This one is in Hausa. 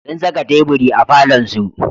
Sun saka teburi a falonsu.